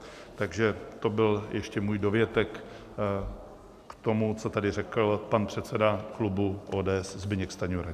Takže to byl ještě můj dovětek k tomu, co tady řekl pan předseda klubu ODS Zbyněk Stanjura.